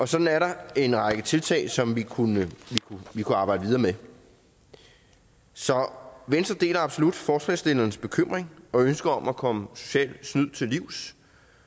sådan er der en række tiltag som vi kunne arbejde videre med så venstre deler absolut forslagsstillernes bekymring og ønske om at komme socialt snyd til livs